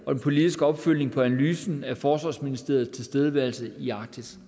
og den politiske opfølgning på analysen af forsvarsministeriets tilstedeværelse i arktis